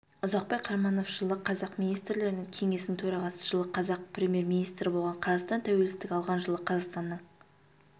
ұзақбай қараманов жылы қазақ министрлерінің кеңесінің төрағасы жылы қазақ премьер-министрі болған қазақстан тәуелсіздік алған жылы қазақстанның